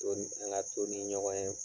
An ka to ni ɲɔgɔn ye